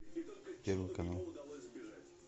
первый канал